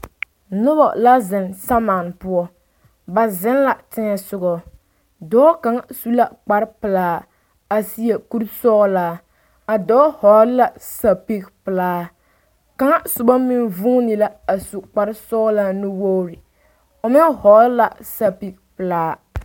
Noba la zeŋ samane poɔ ba zeŋ la teŋa soɔ dɔɔ kaŋ su la kpar pelaa a seɛ kuri sɔgelaa a dɔɔ hɔgele la zapili pelaa kaŋ soba meŋ vuune la a su kpar sɔgelaa nuwoori o meŋ hɔgele la zapili pelaa